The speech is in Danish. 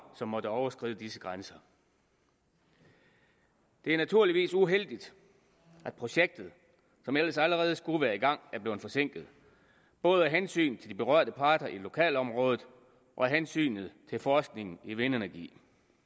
som måtte overskride disse grænser det er naturligvis uheldigt at projektet som ellers allerede skulle være i gang er blevet forsinket både af hensyn til de berørte parter i lokalområdet og af hensyn til forskningen i vindenergi